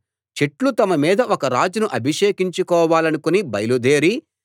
చెట్లు తమ మీద ఒక రాజును అభిషేకించుకోవాలనుకుని బయలుదేరి